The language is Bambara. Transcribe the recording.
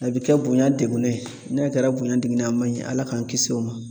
A bi kɛ bonya degunnen. N'a kɛra bonya degunnen a ma ɲi. Ala k'an kisi o ma.